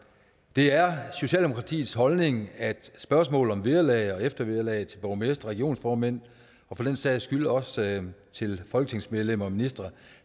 det er socialdemokratiets holdning at spørgsmålet om vederlag og eftervederlag til borgmestre og regionsformænd og for den sags skyld også til folketingsmedlemmer og ministre